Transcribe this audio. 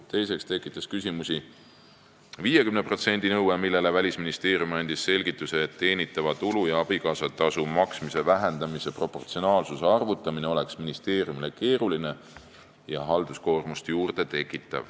Teiseks tekitas küsimusi 50% nõue, mille kohta Välisministeerium andis selgituse, et teenitava tulu ja abikaasatasu maksmise vähendamise proportsionaalsuse arvutamine oleks ministeeriumile keeruline ja tekitaks halduskoormust juurde.